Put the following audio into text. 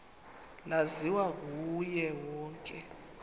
laziwa nguye wonke